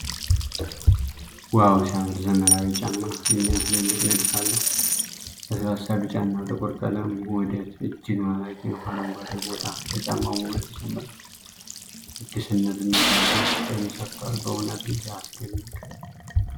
ዋው ሲያምር! ዘመናዊው ጫማ የሚያስደንቅ ንድፍ አለው። ለስላሳ ቢጫና ጥቁር ቀለም ውህደት እጅግ ማራኪ ነው። አረንጓዴው ቦታ ለጫማው ውበት ይጨምራል። አዲስነትና ፋሽን ፍቅርን ሰቷል። በእውነትም ሲያስደንቅ!